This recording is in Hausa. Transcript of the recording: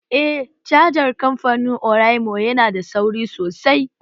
Eh cajar kamfanin oraimo yana da sauri sosai